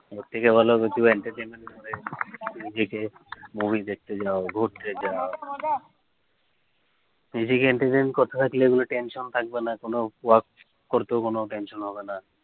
movie দেখতে যায়, ঘুরতে যাও করতেও কোনো tension হবে না